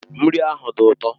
Nri ahụ dị ụtọ.